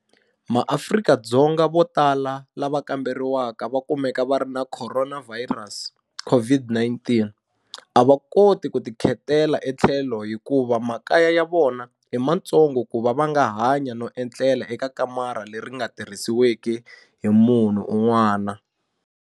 MaAfrika-Dzonga vo tala lava kamberiwaka va kumeka va ri na khoronavhayirasi, COVID-19, a va koti ku ti khetela etlhelo hikuva makaya ya vona i matsongo kuva va nga hanya no etlela eka kamara leri ri nga tirhisiweki hi munhu un'wana.